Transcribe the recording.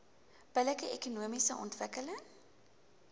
billike ekonomiese ontwikkeling